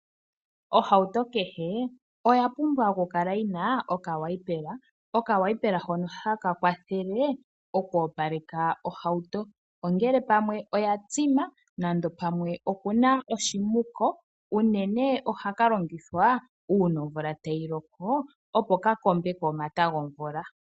Ohauto kehe oya pumbwa oku kala yina okawipela. Okawipela hono haka kwathele oku opaleka ohauto. Ongele pamwe oya tsima nande pamwe okuna oshimuko. Unene ohaka longithwa una omvula tayi loko opo ka kombeko omata gomvula.